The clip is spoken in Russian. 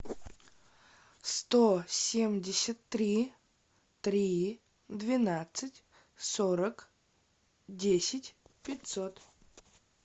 сто семьдесят три три двенадцать сорок десять пятьсот